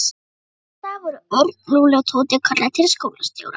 Næsta dag voru Örn, Lúlli og Tóti kallaðir til skólastjóra.